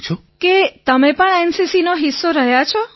વિનોલે કે તમે પણ એનસીસીનો હિસ્સો રહ્યા છો